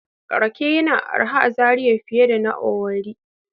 Rake yana da arha a Zariya fiye da na owerri